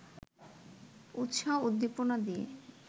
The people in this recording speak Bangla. উত্সাহ-উদ্দীপনা নিয়ে